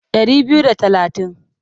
Ɗari biyu da talatin.